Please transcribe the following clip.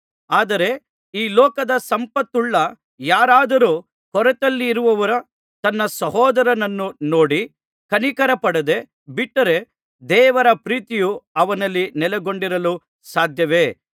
ಆದರೆ ಈ ಲೋಕದ ಸಂಪತ್ತುಳ್ಳ ಯಾರಾದರೂ ಕೊರತೆಯಲ್ಲಿರುವ ತನ್ನ ಸಹೋದರನನ್ನು ನೋಡಿ ಕನಿಕರಪಡದೆ ಬಿಟ್ಟರೆ ದೇವರ ಪ್ರೀತಿಯು ಅವನಲ್ಲಿ ನೆಲೆಗೊಂಡಿರಲು ಸಾಧ್ಯವೇ